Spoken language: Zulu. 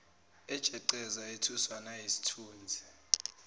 ejeqeza ethuswa nayisithunzi